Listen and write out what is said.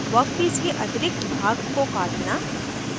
workpiece के अतिरिक्त भाग को काटना